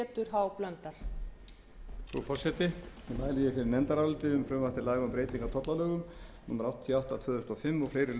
háttvirtri efnahags og skattanefnd um frumvarp til laga um breyting á tollalögum númer áttatíu og